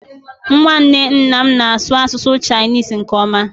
Nwanne nna m na-asụ asụsụ Chinisi nke ọma